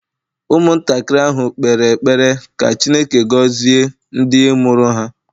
Ụmụntakịrị ahụ kpere ekpere ka Chineke gọzie ndị mụrụ ha